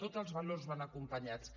tots els valors van acompanyats